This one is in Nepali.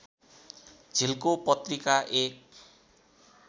झिल्को पत्रिका एक